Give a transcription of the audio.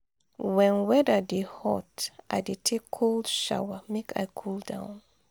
wen weather dey hot i dey take cold shower make i cool down.